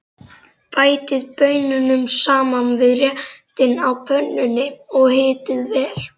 Bætið baununum saman við réttinn á pönnunni og hitið vel.